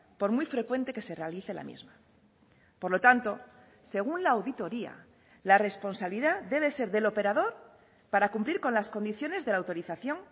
por muy frecuente que se realice la misma por lo tanto según la auditoría la responsabilidad debe ser del operador para cumplir con las condiciones de la autorización